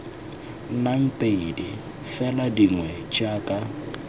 nnang pedi fela dingwe jaka